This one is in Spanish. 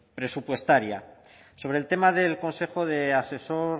presupuestaria sobre el tema del consejo asesor